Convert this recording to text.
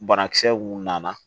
Banakisɛ mun nana